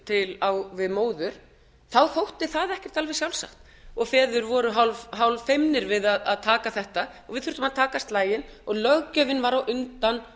til jafns við móður þá þótti það ekkert alveg sjálfsagt og feður voru hálffeimnir við að taka þetta og við þurftum að taka slaginn og löggjöfin var á undan